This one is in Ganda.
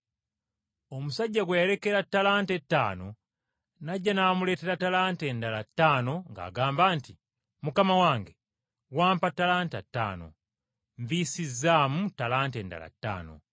Omusajja gwe yalekera ttalanta ettaano n’ajja n’amuleetera ttalanta endala ttaano ng’agamba nti, ‘Mukama wange wampa ttalanta ttaano, nviisizaamu ttalanta endala ttaano.’